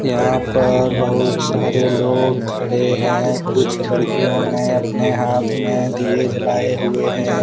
यहां पर बहुत सारे लोग खड़े हैं कुछ लड़कियों ने अपने हाथ में दिए जलाए हुए हैं।